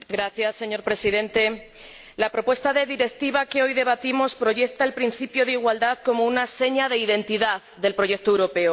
Señor Presidente, la propuesta de Directiva que hoy debatimos proyecta el principio de igualdad como una seña de identidad del proyecto europeo.